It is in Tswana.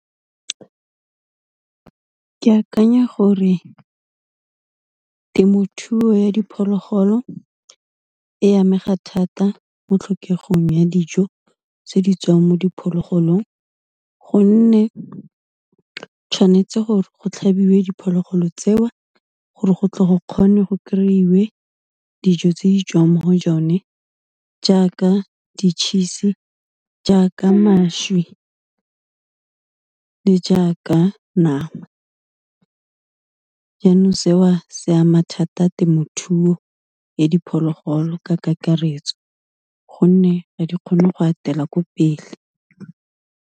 Ke akanya gore temothuo ya diphologolo e amega thata mo tlhokegang ya dijo tse di tswang mo diphologolong, gonne tshwanetse gore go tlhabiwe diphologolo tseo gore go tle go kgone go kry-we dijo tse di tswang mo go yone, jaaka di-cheese-e, jaaka mašwi le jaaka nama. Yanong se o, se ama thata temothuo ya diphologolo ka kakaretso, gonne ga di kgone go atela ko pele.